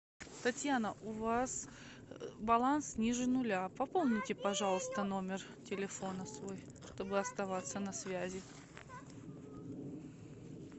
татьяна у вас баланс ниже нуля пополните пожалуйста номер телефона свой чтобы оставаться на связи